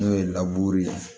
N'o ye ye